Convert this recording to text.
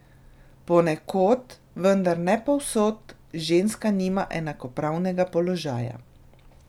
Ponekod, vendar ne povsod, ženska nima enakopravnega položaja.